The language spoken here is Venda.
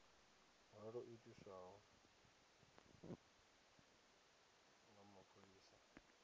nga lwo itiswa nga mapholisa